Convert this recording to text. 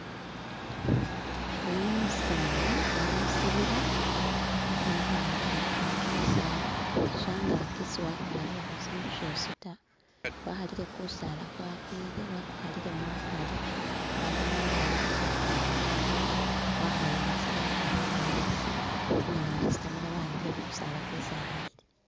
oyuno umusani ali musibila abonekhane nga uli khuhala kimisaala shangaki siwakwariho sindu shosi ta wakhalile kusala kwakwile wakukhalilemu akari wamala wawambile khakhuma khakhala wahawumusile waharere asi umwene wasitamile wawambile khukusaala kwesi akhalile